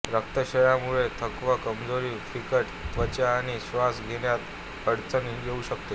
रक्तक्षयामुळे थकवा कमजोरी फिकट त्वचा आणि श्वास घेण्यात अडचण येऊ शकते